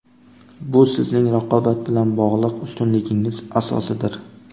Bu sizning raqobat bilan bog‘liq ustunligingiz asosidir.